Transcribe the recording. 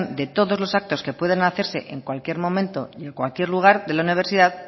de todos los actos que pueden hacerse en cualquier momento y en cualquier lugar de la universidad